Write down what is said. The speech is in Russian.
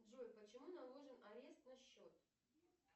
джой почему наложен арест на счет